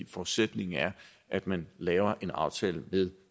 forudsætningen er at man laver en aftale ved